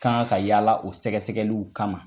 Ka Kan ka yaala o sɛgɛsɛgɛliw kama.